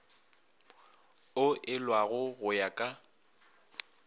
o elwago go ya ka